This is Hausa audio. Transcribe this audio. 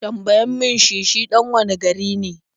Tambayan mi shi shi ɗan wane gari ne?